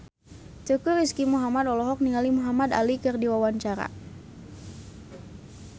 Teuku Rizky Muhammad olohok ningali Muhamad Ali keur diwawancara